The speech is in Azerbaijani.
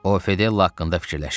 O, Fedella haqqında fikirləşirdi.